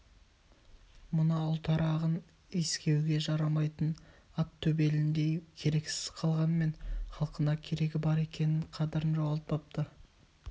мына ұлтарағын искеуге жарамайтын ат төбеліндей керексіз қалғанмен халқына керегі бар екен қадырын жоғалтпапты